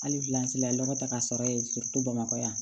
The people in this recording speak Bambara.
Hali lɔgɔ ta ka sɔrɔ bamakɔ yan